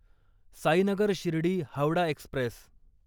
Sainagar Shirdi Howrah Express